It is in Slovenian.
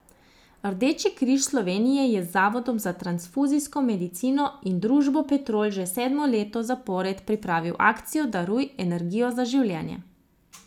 Rdeči križ Slovenije je z Zavodom za transfuzijsko medicino in družbo Petrol že sedmo leto zapored pripravil akcijo Daruj energijo za življenje.